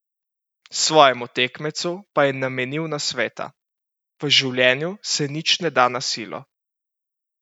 Svojemu tekmecu pa je namenil nasveta: "V življenju se nič ne da na silo.